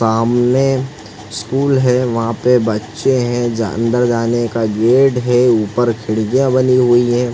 सामने स्कूल है वहाँ पे बच्चे है जा अंदर जाने का गेट है ऊपर खिड़कियां बनी हुई है।